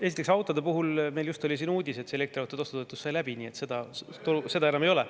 No esiteks, autode puhul just oli uudis, et elektriautode ostu toetus sai läbi, nii et seda enam ei ole.